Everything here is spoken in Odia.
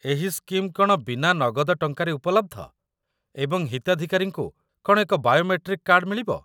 ଏହି ସ୍କିମ୍ କ'ଣ ବିନା ନଗଦ ଟଙ୍କାରେ ଉପଲବ୍ଧ, ଏବଂ ହିତାଧିକାରୀଙ୍କୁ କ'ଣ ଏକ ବାୟୋମେଟ୍ରିକ୍ କାର୍ଡ ମିଳିବ?